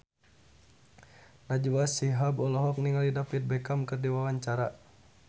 Najwa Shihab olohok ningali David Beckham keur diwawancara